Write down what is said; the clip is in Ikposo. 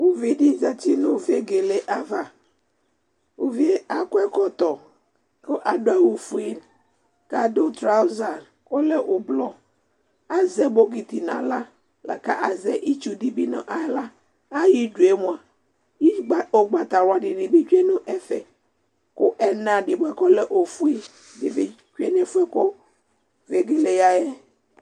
uvi di zati no vegele ava uvie akɔ ɛkɔtɔ ko ado awu fue ko ado trauza k'ɔlɛ ublɔ azɛ bokiti n'ala lako azɛ itsu di bi n'ala ayidue moa ugbata wla dini bi tsue no ɛfɛ ko ɛna di boa ko ɔlɛ ofue di bi tsue no ɛfoɛ ko vegele ya yɛ